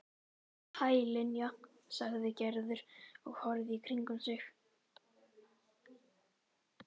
Hæ, Linja sagði Gerður og horfði í kringum sig.